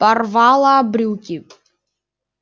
порвала брюки